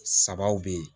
Sabaw be ye